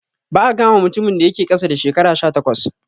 Ba'a kama mutumin da yake ƙasa da shekara sha takwas